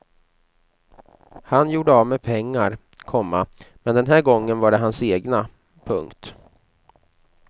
Han gjorde av med pengar, komma men den här gången var det hans egna. punkt